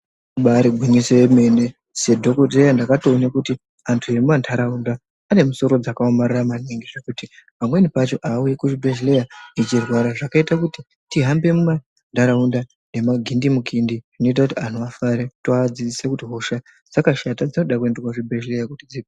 Ibari gwinyiso yemene sedhokodheya ndakatoona kuti antu emumantaraunda ane musoro dzakaomarara maningi zvekuti pamweni pacho haauyi kuchibhedhleya achirwara. Zvakaita kuti tihambe mumantaraunda nemagindimukindi zvinoita kuti antu afare toadzidzisa kuti hosha dzakashata dzinoda kuenda kuzvibhedhleya kuti dzi.